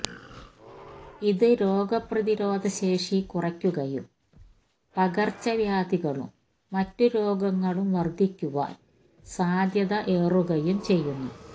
ഇത് രോഗപ്രതിരോധ ശേഷി കുറയ്ക്കുകയും പകർച്ചവ്യാധികളും മറ്റു രോഗങ്ങളും വർധിക്കുവാൻ സാധ്യത ഏറുകയും ചെയ്യുന്നു